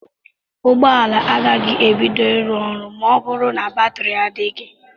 Ụgbọala agaghị ebido ịrụ ọrụ ma ọ bụrụ na batiri adịghị.